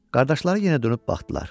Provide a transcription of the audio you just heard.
Qardaşları yenə dönüb baxdılar.